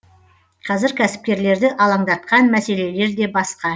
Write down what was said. қазір кәсіпкерлерді алаңдатқан мәселелер де басқа